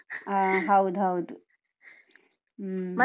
ಹಾ ಹೌದ್ ಹೌದು, ಹ್ಮ್.